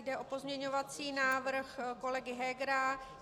Jde o pozměňovací návrh kolegy Hegera.